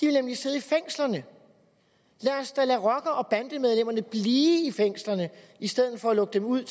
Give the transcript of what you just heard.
nemlig sidde i fængslerne lad os da lade rocker og bandemedlemmerne blive i fængslerne i stedet for at lukke dem ud